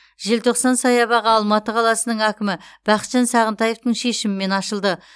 желтоқсан саябағы алматы қаласының әкімі бақытжан сағынтаевтың шешімімен ашылды